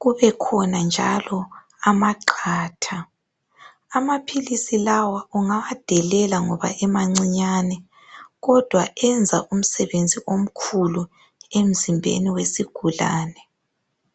kube khona njalo amaqatha. Amaphilisi lawa ungawadelela ngoba emancinyane kodwa enza umsebenzi omkhulu emzimbeni wesigulane.